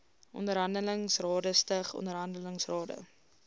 onderhandelingsrade stig onderhandelingsrade